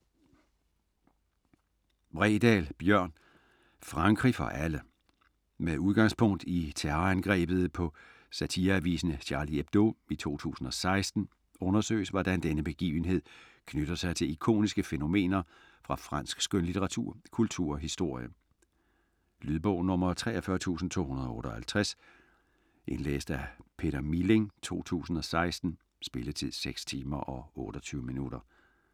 Bredal, Bjørn: Frankrig for alle Med udgangspunkt i terrorangrebet på satireavisen Charlie Hebdo i 2015, undersøges hvordan denne begivenhed knytter sig til ikoniske fænomener fra fransk skønlitteratur, kultur og historie. Lydbog 43258 Indlæst af Peter Milling, 2016. Spilletid: 6 timer, 28 minutter.